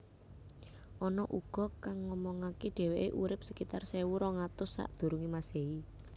Ana uga kang ngomongake deweke urip sekitar sewu rong atus Sakdurunge Masehi